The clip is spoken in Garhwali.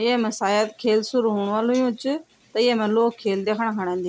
येमा शायद खेल शुरू हुण वल हुयू च त येमा लोग खेल द्यखणा के अंदी ।